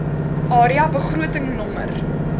area begroting nr